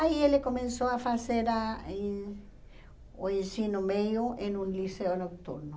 Aí ele começou a fazer a ih o ensino meio em um liceu noturno.